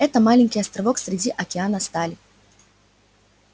это маленький островок среди океана стали